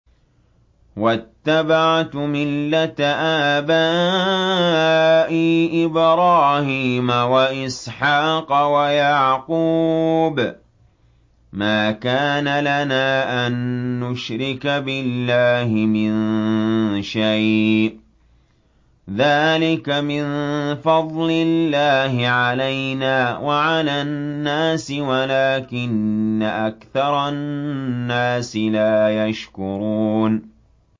وَاتَّبَعْتُ مِلَّةَ آبَائِي إِبْرَاهِيمَ وَإِسْحَاقَ وَيَعْقُوبَ ۚ مَا كَانَ لَنَا أَن نُّشْرِكَ بِاللَّهِ مِن شَيْءٍ ۚ ذَٰلِكَ مِن فَضْلِ اللَّهِ عَلَيْنَا وَعَلَى النَّاسِ وَلَٰكِنَّ أَكْثَرَ النَّاسِ لَا يَشْكُرُونَ